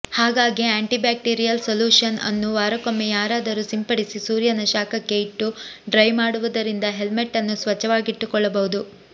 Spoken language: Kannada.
ಹಾಗಾಗಿ ಆ್ಯಂಟಿ ಬ್ಯಾಕ್ಟೀರಿಯಲ್ ಸಲೂಷನ್ ಅನ್ನು ವಾರಕ್ಕೊಮ್ಮೆಯಾದರೂ ಸಿಂಪಡಿಸಿ ಸೂರ್ಯನ ಶಾಖಕ್ಕೆ ಇಟ್ಟು ಡ್ರೈ ಮಾಡುವುದರಿಂದ ಹೆಲ್ಮೆಟ್ ಅನ್ನು ಸ್ವಚ್ಛವಾಗಿಟ್ಟುಕೊಳ್ಳಬಹುದು